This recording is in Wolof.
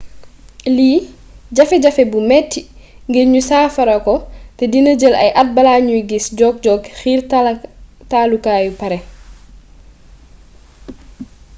lii jafe jafe bu metti ngir ñu saafarako te dina jël ay at bala ñu giss jokk-jokk xiirtalukaay pare